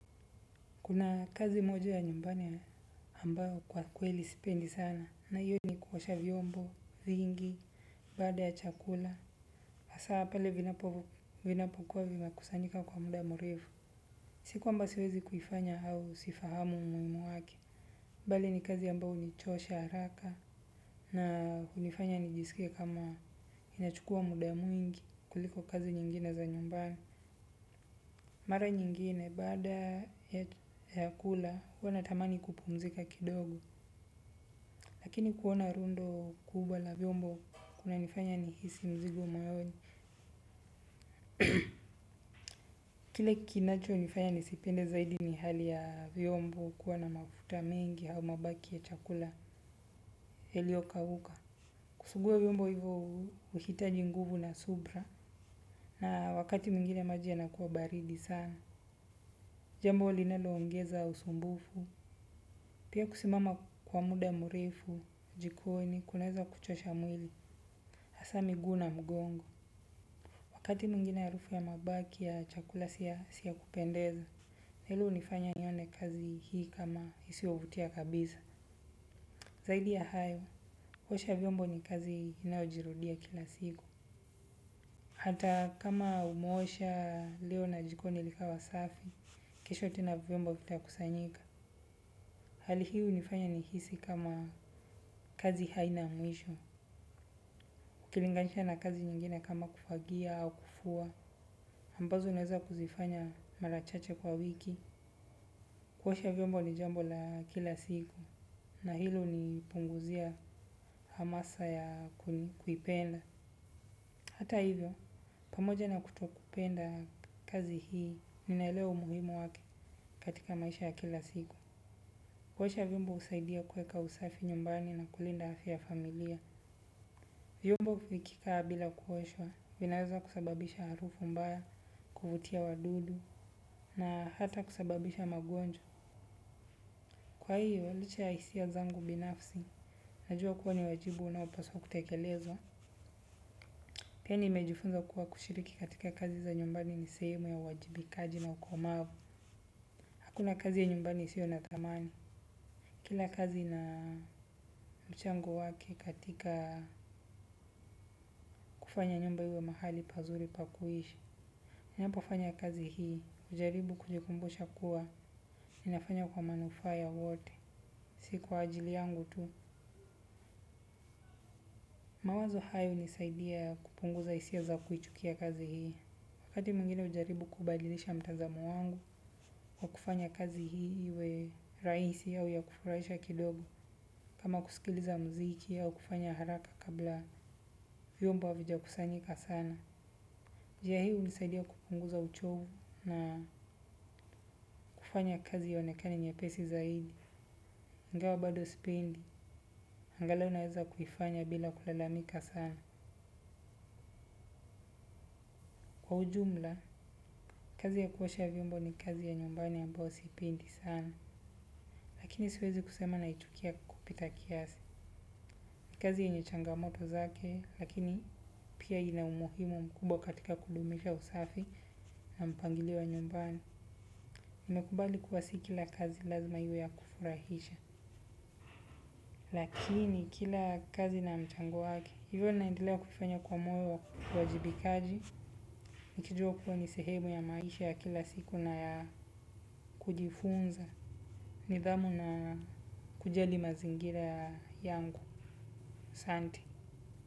Kuna kazi moja ya nyumbani ambao kwa kweli sipendi sana na hiyo ni kuwosha vyombo, vingi, bada ya chakula, asaa pale vinapokuwa vime kusanyika kwa muda murevu, siku amba siwezi kufanya au sifahamu umuimu wake. Mbali ni kazi ambao unichosha haraka na kunifanya nijisikie kama inachukua muda mwingi kuliko kazi nyingine za nyumbani. Mara nyingine bada ya kula huwana tamani kupumzika kidogo. Lakini kuona rundo kubwa la vyombo kuna nifanya ni hisi mzigo moyoni. Kile kinacho nifanya nisipende zaidi ni hali ya vyombo kuwana mafuta mengi hau mabaki ya chakula yalio kawuka. Kusugua vyombo hivo uhitaji nguvu na subra na wakati mingine maji ya na kuwa baridi sana. Jambo linaloongeza usumbufu, pia kusimama kwa muda mrefu, jikoni, kunaweza kuchosha mwili, hasa miguu na mgongo. Wakati mwingine harufu ya mabaki ya chakula si ya kupendeza, hili hunifanya nione kazi hii kama isiyovutia kabisa. Zaidi ya hayo, kuosha vyombo ni kazi inayojirudia kila siku. Hata kama umeosha leo na jikoni likawa safi, kesho tena vyombo vitakusanyika. Hali hii hunifanya nihisi kama kazi haina mwisho, ukilinganisha na kazi nyingine kama kufagia au kufua, ambazo naeza kuzifanya mara chache kwa wiki, kuosha vyombo ni jambo la kila siku, na hilo hunipunguzia hamasa ya kuipenda. Hata hivyo pamoja na kutokupenda kazi hii ninaelewa umuhimu wake katika maisha ya kila siku. Kuosha vyombo husaidia kuweka usafi nyumbani na kulinda afya ya familia. Vyombo vikikaa bila kuoshwa, vinaweza kusababisha harufu mbaya, kuvutia wadudu, na hata kusababisha magonjwa. Kwa hiyo, licha ya hisia zangu binafsi, najua kuwa ni wajibu unaopaswa kutekelezwa. Pia nimejufunza kuwa kushiriki katika kazi za nyumbani ni sehemu ya uwajibikaji na ukomavu. Hakuna kazi ya nyumbani isiyo na thamani. Kila kazi na mchango wake katika kufanya nyumba iwe mahali pazuri pa kuishi. Ninapo fanya kazi hii, hujaribu kujikumbusha kuwa ninafanya kwa manufaa ya wote. Si kwa ajili yangu tu, mawazo haya hunisaidia kupunguza hisia za kuichukia kazi hii. Wakati mwingine hujaribu kubadilisha mtazamo wangu wa kufanya kazi hii iwe rahisi au ya kufurahisha kidogo kama kusikiliza mziki au kufanya haraka kabla vyomba havijakusanyika sana. Njia hii hunisaidia kupunguza uchovu na kufanya kazi ionekane nyepesi zaidi. Ingawa bado sipinde, angalau naeza kuifanya bila kulalamika sana. Kwa ujumla, kazi ya kuosha vyombo ni kazi ya nyumbani ambayo siipendi sana, lakini siwezi kusema naichukia kupita kiasi. Kazi yenye changamoto zake, lakini pia ina umuhimu mkubwa katika kudumisha usafi na mpangilio wa nyumbani. Nimekubali kuwa si kila kazi lazima iwe ya kufurahisha. Lakini kila kazi na mchango wake, hivyo naendelea kufanya kwa moyo wa uwajibikaji, nikijua kuwa ni sehemu ya maisha ya kila siku na ya kujifunza. Nidhamu na kujali mazingira yangu, asante.